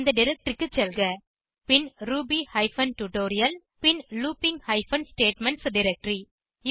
அந்த டைரக்டரி க்கு செல்க பின் ரூபி ஹைபன் டியூட்டோரியல் பின் லூப்பிங் ஹைபன் ஸ்டேட்மென்ட்ஸ் டைரக்டரி